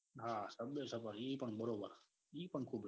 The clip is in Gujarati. હા સબવે સફર એ પણ બરોબર હ એ બી ખુબ રમી હા